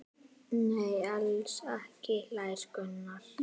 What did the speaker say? Nei, alls ekki hlær Gunnar.